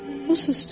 O susdu.